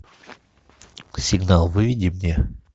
сигнал выведи мне